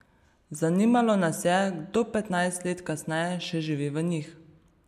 Zanimalo nas je, kdo petnajst let kasneje še živi v njih.